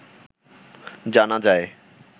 জানা যায়